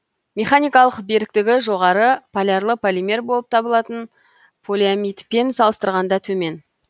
полиорганосилоксандардың механикалық беріктігі жоғары полярлы полимер болып табылатын полиамидпен салыстырғанда төмен